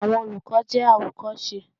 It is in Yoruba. Àwọn olùkọ́ jẹ́ àwòkọ́ṣe.